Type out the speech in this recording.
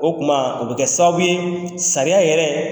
O tuma o bɛ kƐ sababu ye sariya yɛrɛ